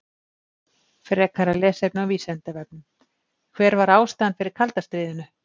Frekara lesefni á Vísindavefnum: Hver var ástæðan fyrir kalda stríðinu?